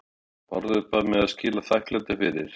BÁRÐUR BAÐ MIG AÐ SKILA ÞAKKLÆTI FYRIR